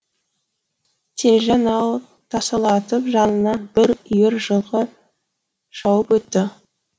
телжан ау тасырлатып жанынан бір үйір жылқы шауып өтті